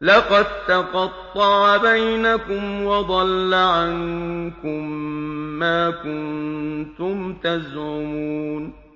لَقَد تَّقَطَّعَ بَيْنَكُمْ وَضَلَّ عَنكُم مَّا كُنتُمْ تَزْعُمُونَ